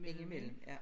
Ind i mellem ja